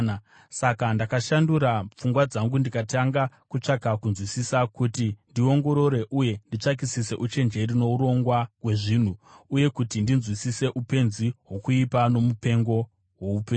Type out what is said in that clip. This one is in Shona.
Saka ndakashandura pfungwa dzangu ndikatanga kutsvaka kunzwisisa, kuti ndiongorore uye nditsvakisise uchenjeri nourongwa hwezvinhu, uye kuti ndinzwisise upenzi hwokuipa nomupengo hwoupenzi.